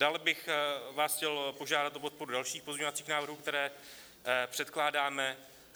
Dále bych vás chtěl požádat o podporu dalších pozměňovacích návrhů, které předkládáme.